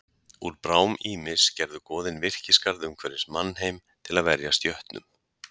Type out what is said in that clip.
Úr brám Ýmis gerðu goðin virkisgarð umhverfis mannheim til að verjast jötnum.